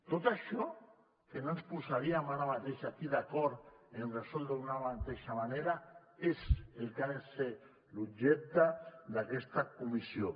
tot això en què no ens posaríem ara mateix aquí d’acord a resoldre d’una mateixa manera és el que ha de ser l’objecte d’aquesta comissió